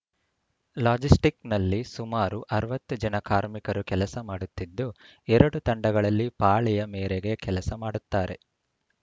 ಲಾಜಿಸ್ಟಿಕ್‌ನಲ್ಲಿ ಸುಮಾರು ಅರವತ್ತು ಜನ ಕಾರ್ಮಿಕರು ಕೆಲಸ ಮಾಡುತ್ತಿದ್ದು ಎರಡು ತಂಡಗಳಲ್ಲಿ ಪಾಳಿಯ ಮೇರೆಗೆ ಕೆಲಸ ಮಾಡುತ್ತಾರೆ